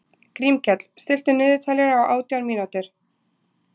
Grímkell, stilltu niðurteljara á átján mínútur.